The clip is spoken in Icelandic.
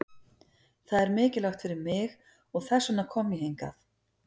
Það er mikilvægt fyrir mig og þess vegna kom ég hingað.